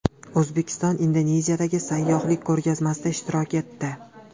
O‘zbekiston Indoneziyadagi sayyohlik ko‘rgazmasida ishtirok etdi.